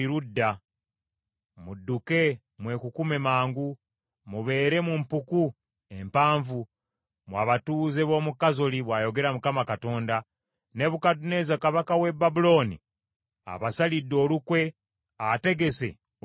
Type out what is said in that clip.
“Mudduke mwekukume mangu! Mubeere mu mpuku empanvu, mmwe abatuuze b’omu Kazoli,” bw’ayogera Mukama Katonda. “Nebukadduneeza kabaka w’e Babulooni abasalidde olukwe; ategese okubalumba.